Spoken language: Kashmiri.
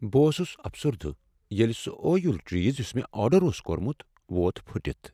بہٕ اوسس افسردہ ییٚلہ سُہ ٲیُل چیز یس مےٚ آرڈر اوس کوٚرمت ووت پھُٹتھ۔